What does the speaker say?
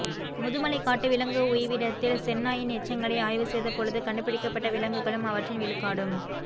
முதுமலை காட்டு விலங்கு உய்விடத்தில் செந்நாயின் எச்சங்களை ஆய்வு செய்த பொழுது கண்டுபிடிக்கப்பட்ட விலங்குகளும் அவற்றின் விழுக்காடும்